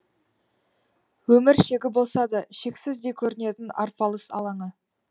өмір шегі болса да шексіздей көрінетін арпалыс алаңы